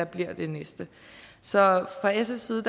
bliver det næste så fra sfs side